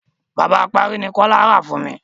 Bàbá apárí ni Kọ́lá rà fún mi.